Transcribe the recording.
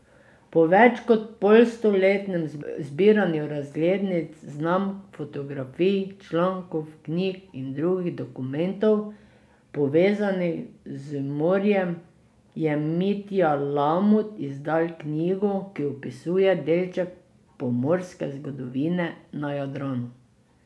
Po več kot polstoletnem zbiranju razglednic, znamk, fotografij, člankov, knjig in drugih dokumentov, povezanih z morjem, je Mitja Lamut izdal knjigo, ki opisuje delček pomorske zgodovine na Jadranu.